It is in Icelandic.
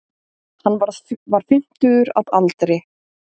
Hann var fimmtugur að aldri